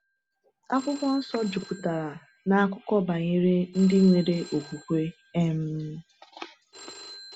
Akwụkwọ Nsọ juputara na akụkọ banyere ndị nwere okwukwe. um